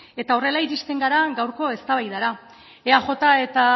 eta horrela iristen gara gaurko eztabaidara eaj eta